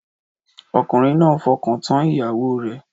Ọkùnrin náà fọkàntán ìyàwó rẹ̀